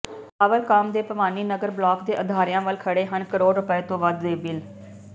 ਪਾਵਰਕਾਮ ਦੇ ਭਵਾਨੀਗੜ੍ਹ ਬਲਾਕ ਦੇ ਅਦਾਰਿਆਂ ਵਲ ਖੜ੍ਹੇ ਹਨ ਕਰੋੜ ਰੁਪਏ ਤੋਂ ਵੱਧ ਦੇ ਬਿੱਲ